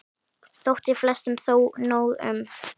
Þótti flestum þó nóg um.